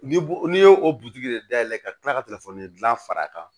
N'i bo n'i ye o de dayɛlɛ ka tila ka telefɔni gilan far'a kan